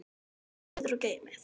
Rífið niður og geymið.